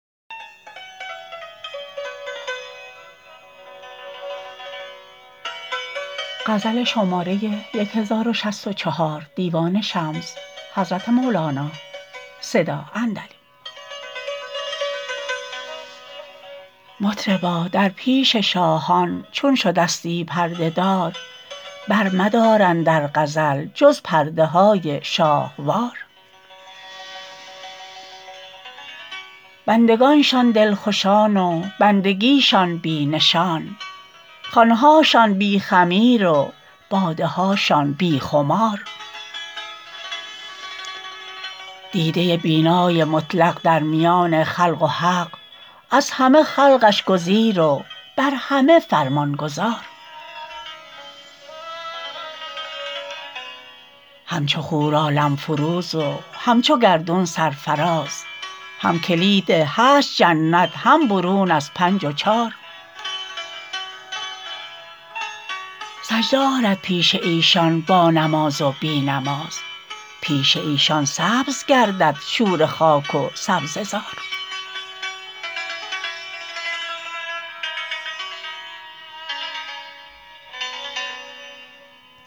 مطربا در پیش شاهان چون شدستی پرده دار برمدار اندر غزل جز پرده های شاهوار بندگانشان دلخوشان و بندگیشان بی نشان خوان هاشان بی خمیر و باده هاشان بی خمار دیده بینای مطلق در میان خلق و حق از همه خلقش گزیر و بر همه فرمان گزار همچو خور عالم فروز و همچو گردون سرفراز هم کلید هشت جنت هم برون از پنج و چار سجده آرد پیش ایشان بانماز و بی نماز پیش ایشان سبز گردد شوره خاک و سبزه زار